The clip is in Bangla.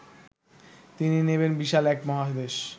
তিনি নেবেন বিশাল এক মহাদেশ